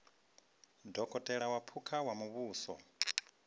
dokotela wa phukha wa muvhuso